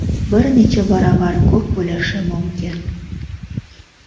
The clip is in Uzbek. bir necha baravar ko‘p bo‘lishi mumkin.